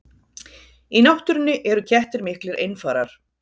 Í náttúrunni eru kettir miklir einfarar.